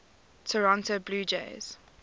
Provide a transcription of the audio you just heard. toronto blue jays